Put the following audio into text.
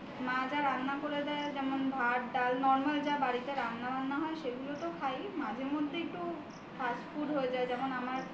মা যা রান্না করে দেয় যেমন ভাত ডাল normal যা বাড়িতে রান্নাবান্না হয় সেগুলো তো খাই মাঝে মধ্যে একটু fast food হয়ে যায় যেমন আমার